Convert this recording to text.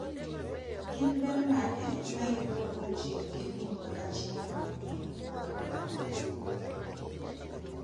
Gin ber mage mayudore kuom tiyo gi lum kaka chiemo mar gwen mag ringo?